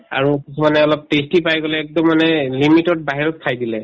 আৰু কিছুমানে অলপ tasty পাই পেলাই একদম মানে limit তৰ বাহিৰত খাই দিলে